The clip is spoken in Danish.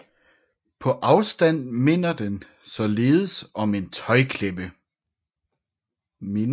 På afstand minder den således om en tøjklemme